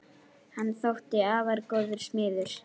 Hann þótti afar góður smiður.